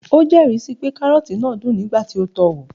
o jeri si pe karroti naa dun nigba ti o to o wo